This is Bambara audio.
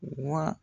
Wa